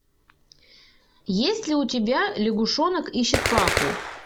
есть ли у тебя лягушонок ищет папу